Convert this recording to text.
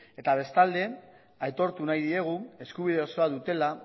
eta bestalde aitortu nahi diegu eskubide osoa dutela